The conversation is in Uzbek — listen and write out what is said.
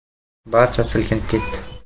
Barcha silkinib ketdi.